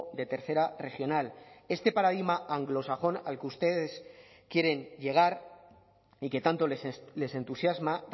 de tercera regional este paradigma anglosajón al que ustedes quieren llegar y que tanto les entusiasma